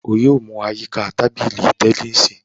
O yoo mu a yika ti tabili tẹnisi!